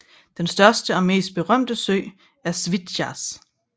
Den største og mest berømte sø er Svitjaz